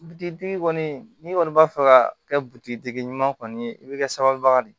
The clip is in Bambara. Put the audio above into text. kɔni n'i kɔni b'a fɛ ka kɛ butigi tigi ɲuman kɔni ye i bɛ kɛ sababu de ye